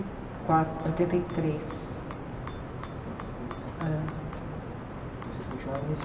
quatro, oitenta e três. Oitenta e três. Vocês continuaram